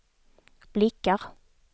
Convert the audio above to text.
blickar